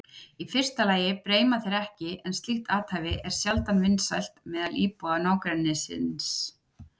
Í fyrsta lagi breima þeir ekki en slíkt athæfi er sjaldan vinsælt meðal íbúa nágrennisins.